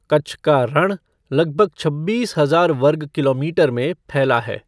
कच्छ का रण लगभग छब्बीस हजार वर्ग किलोमीटर में फैला है।